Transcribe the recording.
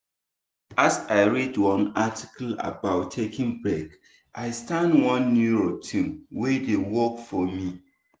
as i read one article about taking break i start one new routine wey dey work for me.